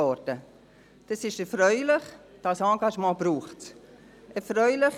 Dies ist erfreulich, dieses Engagement braucht es.